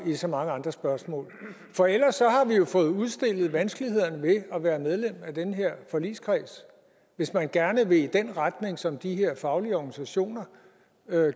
i så mange andre spørgsmål for ellers har vi jo fået udstillet vanskelighederne ved at være medlem af den her forligskreds hvis man gerne vil i den retning som de her faglige organisationer